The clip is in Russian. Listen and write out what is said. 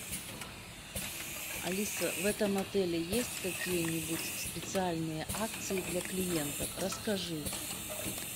алиса в этом отеле есть какие нибудь специальные акции для клиентов расскажи